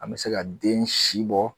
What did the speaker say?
An me se ka den si dɔn